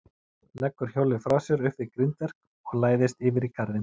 Leggur hjólið frá sér upp við grindverk og læðist yfir í garðinn.